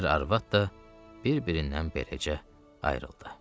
Ər arvad da bir-birindən beləcə ayrıldı.